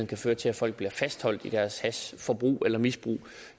kan føre til at folk bliver fastholdt i deres hashforbrug eller misbrug